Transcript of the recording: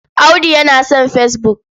Audu yana son fesbuk.